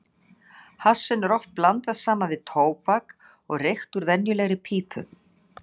Hassinu er oft blandað saman við tóbak og reykt úr venjulegri pípu.